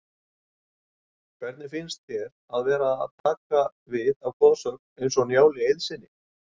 Hvernig finnst þér að vera að taka við af goðsögn eins og Njáli Eiðssyni?